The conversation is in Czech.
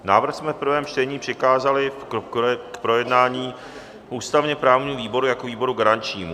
Návrh jsme v prvém čtení přikázali k projednání ústavně-právnímu výboru jako výboru garančnímu.